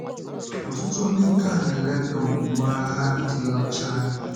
Ọ̀tụtụ ndị taa na-elèda omume ha dị ọcha anya.